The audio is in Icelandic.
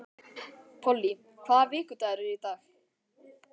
Polly, hvaða vikudagur er í dag?